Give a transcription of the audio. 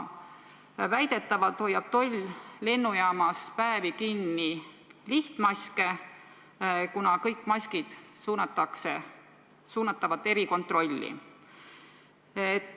Väidetavalt hoiab toll lennujaamas päevade kaupa kinni lihtmaske, kuna kõik maskid suunatakse erikontrolli.